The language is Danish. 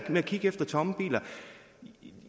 med at kigge efter tomme biler vil